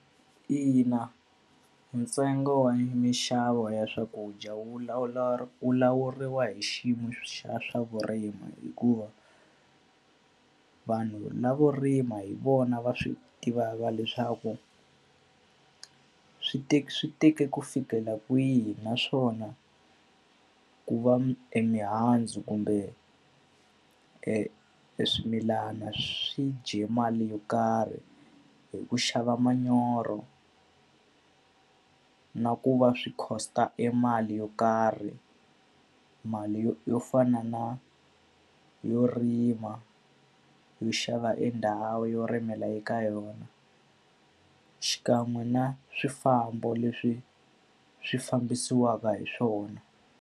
Ina, ntsengo wa minxavo ya swakudya wu lawuriwa hi xiyimo xa swa vurimi hikuva, vanhu lavo rima hi vona va swi tivaka leswaku ku swi swi teke ku fikela kwihi. Naswona ku va emihandzu kumbe e eswimilana swi dye mali yo karhi hi ku xava manyoro na ku va swi cost-a emali yo karhi. Mali yo yo fana na yo rima, yo xava e ndhawu yo rimela eka yona, xikan'we na swifambo leswi swi fambisiwaka hi swona.